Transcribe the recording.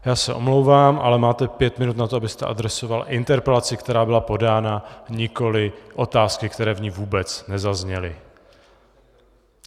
Já se omlouvám, ale máte pět minut na to, abyste adresoval interpelaci, která byla podána, nikoli otázky, které v ní vůbec nezazněly.